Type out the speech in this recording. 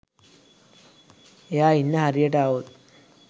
එයා ඉන්න හරියට ආවොත්